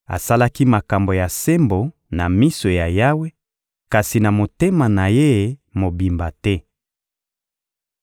Asalaki makambo ya sembo na miso ya Yawe, kasi na motema na ye mobimba te.